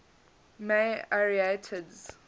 may arietids